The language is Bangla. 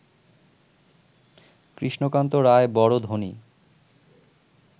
কৃষ্ণকান্ত রায় বড় ধনী